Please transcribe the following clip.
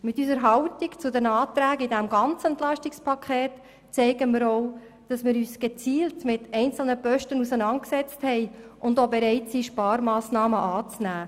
Mit unserer Haltung zu den Anträgen zum ganzen EP zeigen wir auch, dass wir uns gezielt mit einzelnen Posten auseinandergesetzt haben und auch bereit sind, Sparmassnahmen anzunehmen.